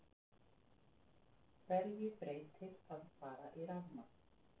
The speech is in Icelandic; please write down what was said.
Magnús Hlynur Hreiðarsson: Hverju breytir að fara í rafmagn?